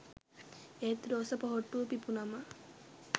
ඒත් රෝස පොහොට්ටුව පිපුනම